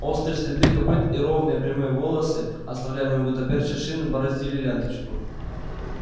острые следы копыт и ровные прямые полосы оставляемые гуттаперчей шин бороздили ленточку